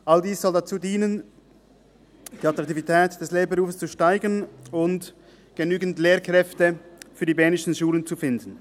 All dies soll dazu dienen, die Attraktivität des Lehrberufs zu steigern und genügend Lehrkräfte für die bernischen Schulen zu finden.